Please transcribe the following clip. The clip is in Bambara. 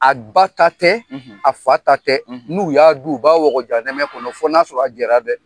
A ba ta tɛ, a fa ta tɛ . N'u y'a dun u b'a wɔgɔ janɛmɛ kɔnɔ fɔ n'a sɔrɔ a jara dɛ!